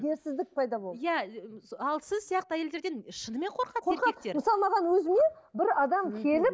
пайда болды иә ал сіз сияқты әйелдерден шынымен қорқады мысалы маған өзіме бір адам келіп